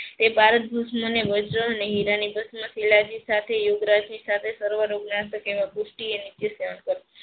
તે ભારત વજ્ર હેરા ની પુષ્ટિ સેવન કરવું.